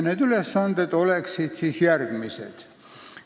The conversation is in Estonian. Need ülesanded on järgmised.